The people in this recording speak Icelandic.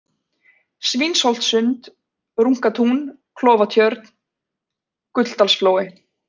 Svínholtssund, Runkatún, Klofatjörn, Gulldalsflói